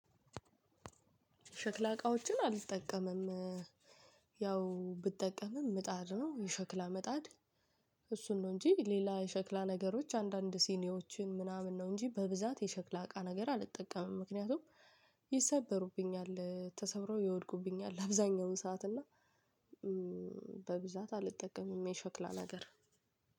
ሸክላ እቃዎችን አልጠቀምም። ያው ብጠቀምም ምጣድ ነው የሸክላ ምጣድ። እሱን ነው እንጂ ሌላ የሸክላ ነገሮች አንዳንድ ሲኒዎችን ምናምን ነው እንጂ በብዛት የሸክላ እቃ ነገር አልጠቀምም። ምክንያቱም ይሰበሩብኛል ተሰብረው ይወድቁብኛል። አብዛኛውን ሰዓት እና በብዛት አልጠቀምም። የሸክላ ነገር